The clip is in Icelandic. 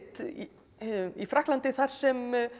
í Frakklandi þar sem